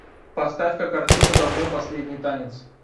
поставь ка картину за мной последний танец